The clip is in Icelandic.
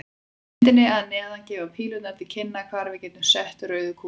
Á myndinni að neðan gefa pílurnar til kynna hvar við getum sett rauðu kúlurnar.